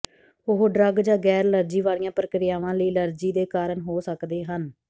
ਉਹ ਡਰੱਗ ਜਾਂ ਗੈਰ ਅਲਰਜੀ ਵਾਲੀਆਂ ਪ੍ਰਕਿਰਿਆਵਾਂ ਲਈ ਐਲਰਜੀ ਦੇ ਕਾਰਨ ਹੋ ਸਕਦੇ ਹਨ